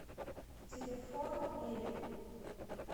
телефон мебель